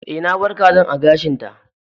Eh, na bar kazan a gashin ta.